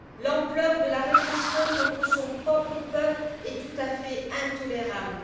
L'ampleur de la répression contre son propre peuple est tout à fait intolérable.